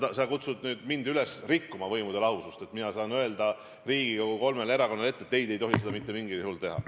Sa kutsud mind üles rikkuma võimude lahususe printsiipi, et mina peaksin ütlema Riigikogu kolmele erakonnale ette, et ei, te ei tohi seda mitte mingil juhul teha.